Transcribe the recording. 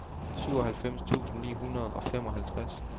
syvoghalvfems tusind ni hundrede og femoghalvtreds